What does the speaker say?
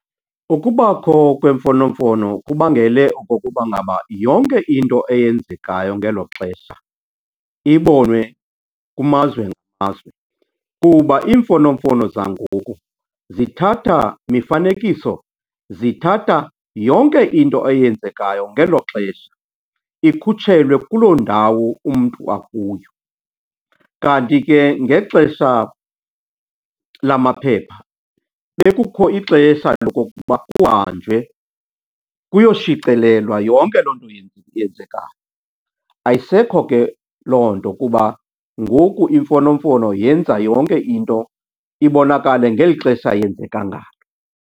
Ukubakho kweemfonomfono kubangele okokuba ngaba yonke into eyenzekayo ngelo xesha ibonwe kumazwe ngamazwe kuba iimfonomfono zangoku zithatha mifanekiso, zithatha yonke into eyenzekayo ngelo xesha ikhutshelwe kuloo ndawo umntu akuyo. Kanti ke ngexesha lamaphepha bekukho ixesha lokokuba kuhanjwe kuyoshicilelwa yonke loo nto yenzekayo. Ayisekho ke loo nto kuba ngoku imfonomfono yenza yonke into ibonakale ngeli xesha yenzeka ngalo.